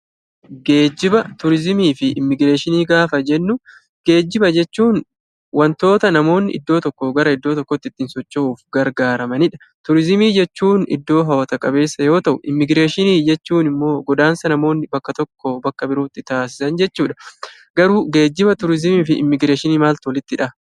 Geejjiba, Turizimii fi immigireeshinii gaafa jennuu; geejjiba jechuun wantoota namni gara tokkoo gara biraatti ittiin socho'uuf gargaaramanii dha. Turizimiin jechuun iddoo hawwata qabeessaa yoo ta'u; immigireeshinii jechuun immoo godaansa namoonni bakka tokkoo bakka birootti taasisan jechuu dha. Garuu geejjiba, turizimii fi immigireeshinii maaltu walitti hidha?